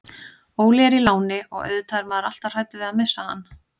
Óli er í láni og auðvitað er maður alltaf hræddur við að missa hann.